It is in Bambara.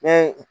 Ne ye